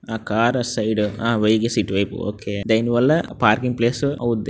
ఆ car side seat వైపు okay దానివల్ల పార్కింగ్ ప్లేస్ అవుద్ది.